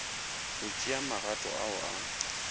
go tšea magato ao a